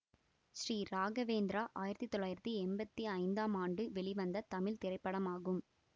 ஸ்ரீ ராகவேந்திரா ஆயிரத்தி தொள்ளாயிரத்தி எம்பத்தி ஐந்தாம் ஆண்டு வெளிவந்த தமிழ் திரைப்படமாகும்